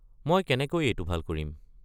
মই কেনেকৈ এইটো ভাল কৰিম?